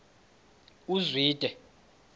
uzwide